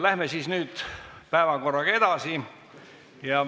Läheme päevakorraga edasi.